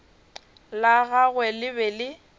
la gagwe le be le